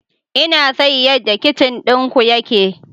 Ina son yadda kicin ɗinku yake.